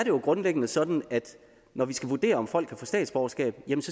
jo grundlæggende sådan at når vi skal vurdere om folk kan få statsborgerskab